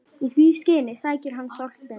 Í því skyni sækir hann Þorstein